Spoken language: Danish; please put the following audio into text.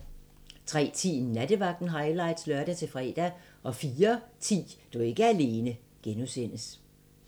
03:10: Nattevagten highlights (lør-fre) 04:10: Du er ikke alene (G)